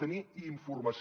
tenir informació